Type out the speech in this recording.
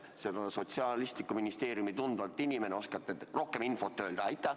Teie kui Sotsiaalministeeriumi tundev inimene oskate ehk rohkem infot öelda.